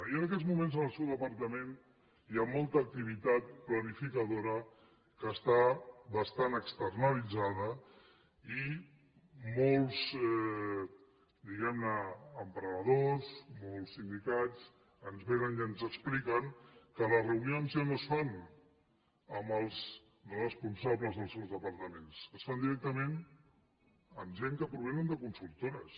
i en aquests moments en el seu departament hi ha molta activitat planificadora que està bastant externalitzada i molts diguem ne emprenedors molts sindicats ens vénen i ens expliquen que les reunions ja no es fan amb els responsables dels seus departaments es fan directament amb gent que provenen de consultores